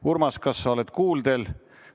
Urmas, kas sa oled kuuldel?